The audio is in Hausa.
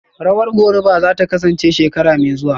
Rawar Goruba zata kasance shekara mai zuwa